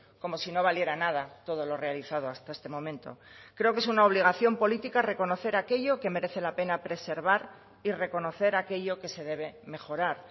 como si no valiera nada todo lo realizado hasta este momento creo que es una obligación política reconocer aquello que merece la pena preservar y reconocer aquello que se debe mejorar